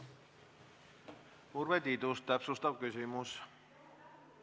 Urve Tiidus, täpsustav küsimus!